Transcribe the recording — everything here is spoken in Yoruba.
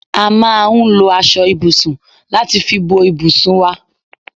A máa ń lò aṣọ ibùsùn láti fi bò ibùsùn wá